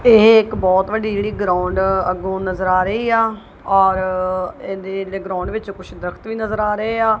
ਬਹੁਤ ਵੱਡੀ ਜਿਹੜੀ ਗਰਾਊਂਡ ਅੱਗੋਂ ਨਜ਼ਰ ਆ ਰਹੀ ਆ ਔਰ ਇਹਦੇ ਗਰਾਊਂਡ ਵਿੱਚ ਕੁਝ ਦਰਖਤ ਵੀ ਨਜ਼ਰ ਆ ਰਹੇ ਆ।